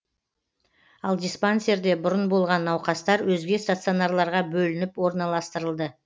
ал диспансерде бұрын болған науқастар өзге стационарларға бөлініп орналастырылды